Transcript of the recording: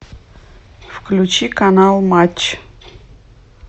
включи канал матч